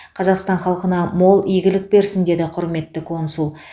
қазақстан халқына мол игілік берсін деді құрметті консул